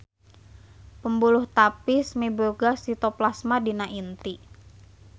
Pembuluh tapis miboga sitoplasma dina inti.